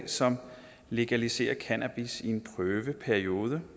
som legaliserer cannabis i en prøveperiode